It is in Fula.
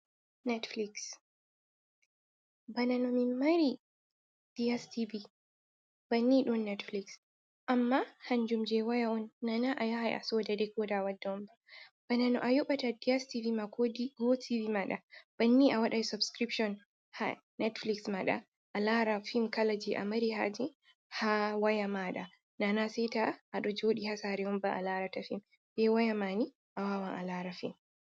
Netfiliks, Banano mimmari Di'estivi bannin ɗon Netfiliks amma kanjum je woya on nana a yahay a sooda dikooda a wadda on ba. Banano a yoɓata Di'estivi ma ko Gotivi maaɗa, banni a waɗay sobsikiribshon ha Netfiliks maaɗa a laara fim kala je a mari haaje ha waya maaɗa, nana seeta a ɗo jooɗi ha saare on ba a waawata laarugo fim.